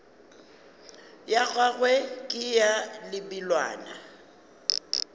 ya gagwe ke ya lebelwana